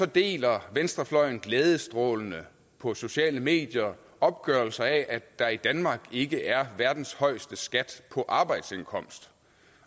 deler venstrefløjen glædestrålende på sociale medier opgørelser af at der i danmark ikke er verdens højeste skat på arbejdsindkomst